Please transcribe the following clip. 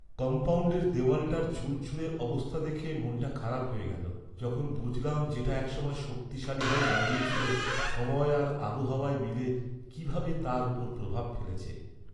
কম্পাউণ্ডের দেওয়ালটার ঝুরঝুরে অবস্থা দেখে মনটা খারাপ হয়ে গেল যখন বুঝলাম যেটা এক সময় শক্তিশালী হয়ে দাঁড়িয়ে ছিল; সময় আর আবহাওয়া মিলে কীভাবে তার ওপর প্রভাব ফেলেছে!